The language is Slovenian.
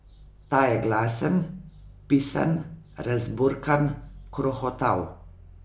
Ta je glasen, pisan, razburkan, krohotav.